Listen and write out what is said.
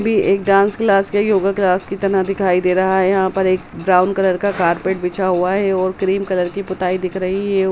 भी एक dance class भी एक योगा क्लास कि तरह दिखाई दे रहा है यहाँ पर एक ब्राउन कलर का कारपेट बिछा हुआ है और क्रीम कलर कि पुताई दिख रही है।